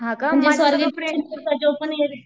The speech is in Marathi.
हां का?